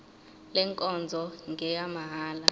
le nkonzo ngeyamahala